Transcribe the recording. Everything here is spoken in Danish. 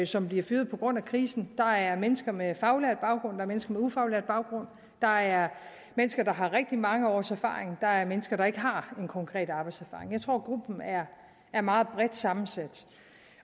som bliver fyret på grund af krisen der er mennesker med faglært baggrund der er mennesker med ufaglært baggrund der er mennesker der har rigtig mange års erfaring og der er mennesker der ikke har konkret arbejdserfaring jeg tror gruppen er meget bredt sammensat